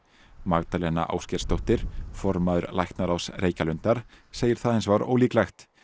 Magdalena Ásgeirsdóttir formaður læknaráðs Reykjalundar segir það hins vegar ólíklegt